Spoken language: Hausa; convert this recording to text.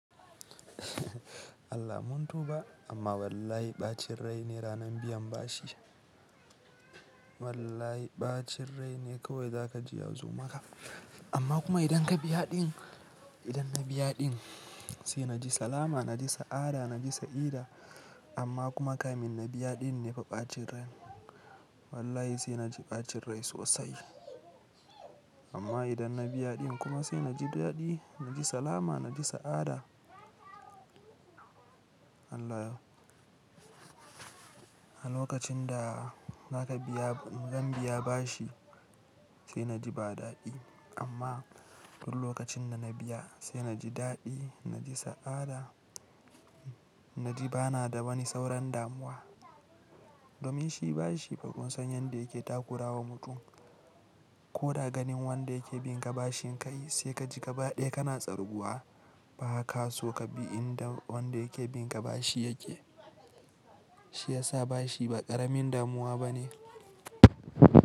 Allah mun tuba, amma wallahi ɓacin rai ne ranan biyan bashi. Wallahi ɓacin rai ne kawai za ka ji ya zo maka. Amma kuma idan ka biya ɗin, idan na biya ɗin sai na ji salama, na ji sa'ada, na ji sa'ida. Amma kuma kai min na biya ɗin ne fa ɓacin rai. Wallahi sai na ji ɓacin rai sosai. Amma idan na biya ɗin kuma sai na ji daɗi, na ji salama, na ji sa'ada. Allah ya. A lokacin da naka biya, idan ka biya bashi sai na ji ba daɗi. Amma duk lokacin da na biya sai na ji daɗi, na ji sa'ada, na ji bana da bani sauran damuwa. Domin shi bashi fa kun san yanda yake takura wa mutum. Ko da ganin wanda yake bin ka bashin kai sai ka ji gaba ɗaya kana tsarguwa. Ba ka so ka bi inda wanda yake bin ka bashi yake. Shi ya sa bashi ba ƙaramin damuwa bane.